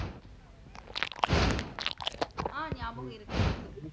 அ ஞாபகம் இருக்கு இருக்கு